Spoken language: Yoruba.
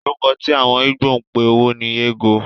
Orúkọ tí àwọn Igbo ń pe owó ni ego.